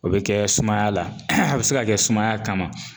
O be kɛ sumaya la a bɛ se ka kɛ sumaya kama